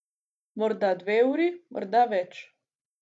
Morda dve uri, morda več.